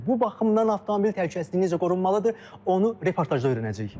Bu baxımdan avtomobil təhlükəsizliyi necə qorunmalıdır, onu reportajda öyrənəcəyik.